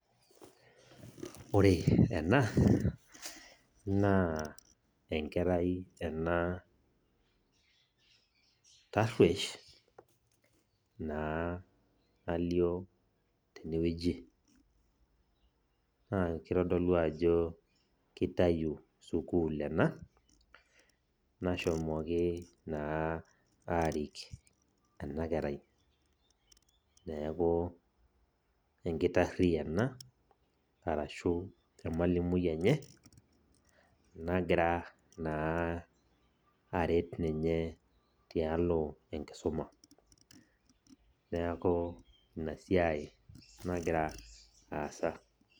Ore ena, naa enkerai ena tarruesh, naa nalio tenewueji. Naa kitodolu ajo kitayu sukuul ena, nashomoki naa arik enakerai. Neeku enkitarri ena, arashu emalimui enye, nagira naa aret ninye tialo enkisuma. Neeku inasiai nagira aasa.